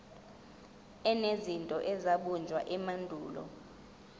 enezinto ezabunjwa emandulo